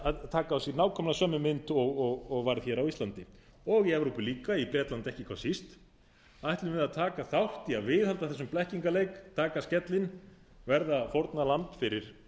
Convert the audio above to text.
að taka á sig nákvæmlega sömu mynd og var á íslandi og í evrópu líka í bretlandi ekki hvað síst ætlum við að taka þátt í að viðhalda þessum blekkingarleik taka af skellinn verða fórnarlamb fyrir